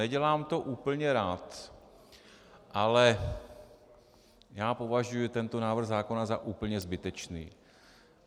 Nedělám to úplně rád, ale já považuji tento návrh zákona za úplně zbytečný.